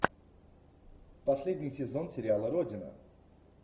последний сезон сериала родина